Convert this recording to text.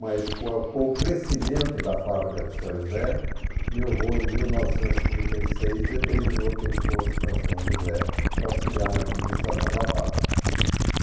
Mas com a com o crescimento da fábrica de São José, meu avô, em mil novecentos e trinta e seis, determinou que ele fosse para São José para auxiliar na administração da fábrica.